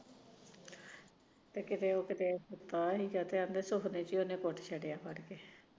ਕਿਤੇ ਉਹ ਕਿਤੇ